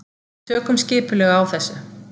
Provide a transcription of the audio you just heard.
Tökum skipulega á þessu.